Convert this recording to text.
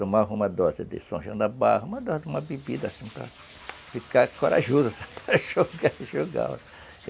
Tomava uma dose de São Janabá, uma bebida assim para ficar corajoso, para jogar, jogar.